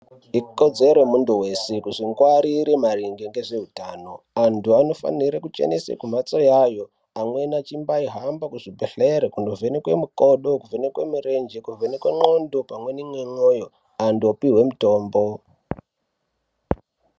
Ikodzero yemunthu weshe kuzvingwarire maringe ngezveutano, vantu vanofanire kuchenese mphatso yayo amweni achimbaihamba kuzvibhedhlere kunovhenekwe mikodo, kuvhenekwe mirenje, kuvhenekwe ndxondo pamweni nemwoyo antu opihwe mutombo.